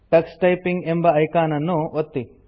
Tux typing ಎಂಬ icon ಅನ್ನು ಒತ್ತಿ